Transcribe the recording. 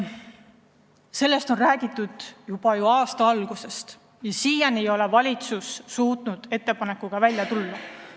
Sellest on räägitud juba aasta algusest, aga siiani ei ole valitsus suutnud ettepanekuga välja tulla.